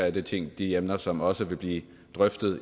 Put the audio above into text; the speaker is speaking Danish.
et af de de emner som også vil blive drøftet